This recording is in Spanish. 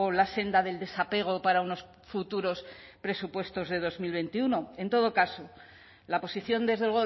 la senda del desapego para unos futuros presupuestos de dos mil veintiuno en todo caso la posición desde